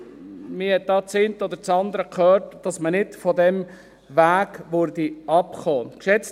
Man hat hier das eine oder andere gehört, dass man nicht von diesem Weg abkommen würde.